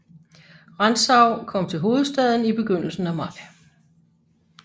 Rantzau kom til hovedstaden i begyndelsen af maj